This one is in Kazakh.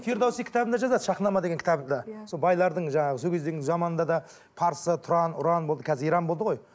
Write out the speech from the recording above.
фирдауси кітабында жазады шахнама деген кітабында сол байлардың жаңағы сол кездегінің заманында да парсы тұран ұран болды қазір иран болды ғой